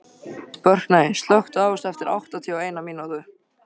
Burkney, slökktu á þessu eftir áttatíu og eina mínútur.